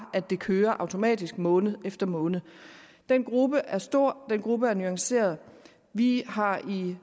at det kører automatisk måned efter måned den gruppe er stor den gruppe er nuanceret vi har i